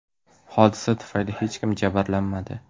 Hodisa tufayli hech kim jabrlanmadi.